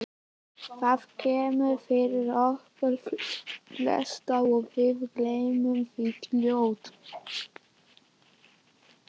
Það kemur fyrir okkur flest og við gleymum því fljótt.